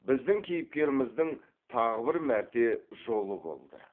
біздің кейіпкеріміздің тағы бір мәрте жолы болды